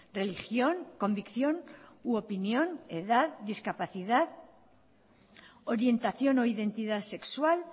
religión convicción u opinión edad discapacidad orientación o identidad sexual